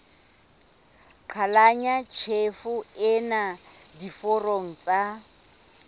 qhalanya tjhefo ena diforong tsa